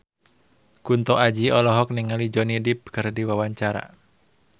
Kunto Aji olohok ningali Johnny Depp keur diwawancara